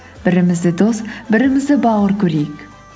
бірімізді дос бірімізді бауыр көрейік